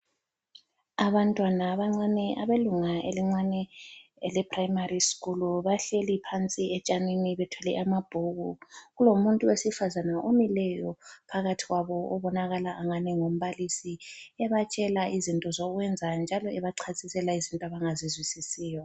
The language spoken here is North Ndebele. Abantwana abancane abelunga elincane elePrimary School bahleli phansi etshanini bethwele amabhuku. Kulomuntu wesifazana omileyo phakathi kwabo obonakala angani ngumbalisi ebatshela izinto zokwenza njalo ebachasisela izinto abangazizwisisiyo.